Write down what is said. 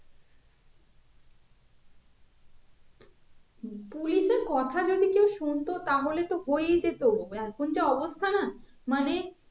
police এর কথা যদি কেও শুনতো তাহলে তো হই যেতো এখন যা অবস্থা না মানে